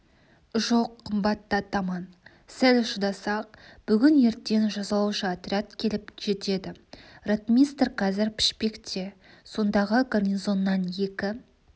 жоқ қымбатты атаман сәл шыдасақ бүгін-ертең жазалаушы отряд келіп жетеді ротмистр қазір пішпекте сондағы гарнизоннан екі